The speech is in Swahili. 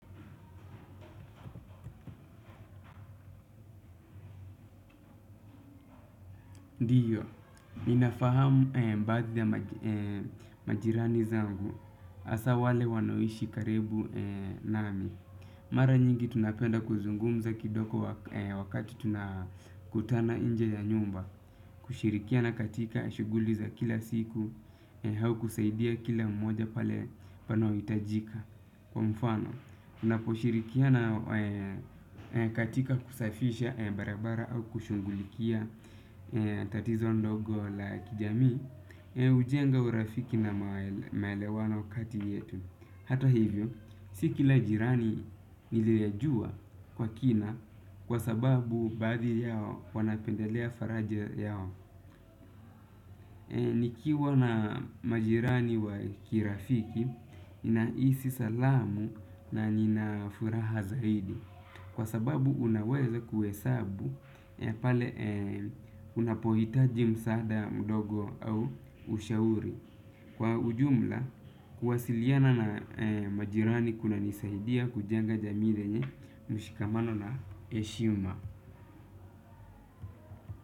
Ndiyo, ninafahamu baadhii ya majirani zangu. Hasa wale wanaoishi karibu nami. Mara nyingi tunapenda kuzungumza kidogo wakati tunakutana inje ya nyumba. Kushirikia na katika shuguli za kila siku au kusaidia kila mmoja pale pale panapohitajika kwa mfano tunapo shirikiana katika kusafisha barabara au kushugulikia tatizo ndogo la kijamii hujenga urafiki na maelewano kati yetu hata hivyo, si kila jirani niliyejua kwa kina. Kwa sababu baadhi yao wanapendelea faraja yao. Nikiwa na majirani wa kirafiki ninahisi salamu na nina furaha zaidi. Kwa sababu unaweza kuhesabu. Pale unapohitaji msaada mdogo au ushauri. Kwa ujumla kwasiliana na majirani kunanisaidia kujenga jamii yenye mshikamano na heshima.